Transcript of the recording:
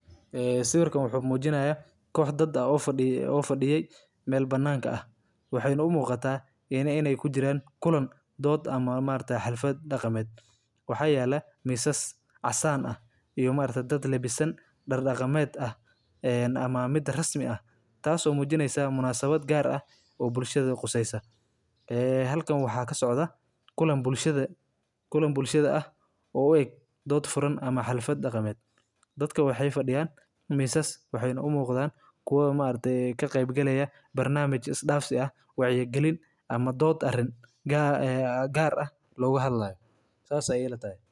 Sanadka cusub ayaa soo dhow, waana xilli farxad iyo isbeddel leh, dadkuna waxay raadinayaan fursado wanaagsan oo ay ku helaan alaab tayo leh qiimo dhimis la yaab leh. Dukaamada waaweyn iyo kuwa yaryarba waxay soo bandhigayaan iib weyn oo sanadka cusub, taasoo ka dhigaysa mid aad u xiiso badan in la iibsado waxyaabaha loo baahanyahay sida dharka, qalabka elektarooniga, alaabta guriga, iyo agabka ciyaaraha. Iibka sanadka cusub ayaa si gaar ah.